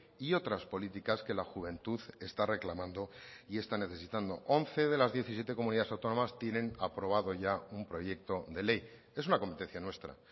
y otras políticas que la juventud está reclamando y está necesitando once de las diecisiete comunidades autónomas tienen aprobado ya un proyecto de ley es una competencia nuestra